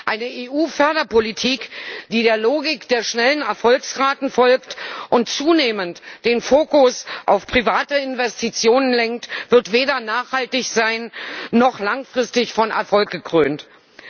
Eine EU Förderpolitik, die der Logik der schnellen Erfolgsraten folgt und zunehmend den Fokus auf private Investitionen lenkt, wird weder nachhaltig noch langfristig von Erfolg gekrönt sein.